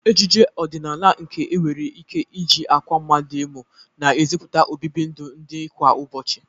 Ejije ọdịnala nke e nwere ike iji akwa mmadu emu na-eziputa obibi ndụ ndị kwa ụbochị.